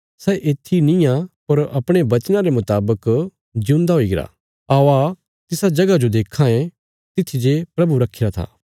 सै येत्थी निआं पर अपणे वचना रे मुतावक जिऊंदा हुईगरा औआ तिसा जगह जो देक्खां तित्थी जे प्रभु रखीरा था